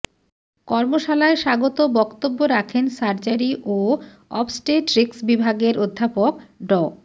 কর্মশালায় স্বাগত বক্তব্য রাখেন সার্জারি ও অবস্টেট্রিক্স বিভাগের অধ্যাপক ড